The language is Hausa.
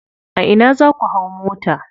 A ina za ku hau mota.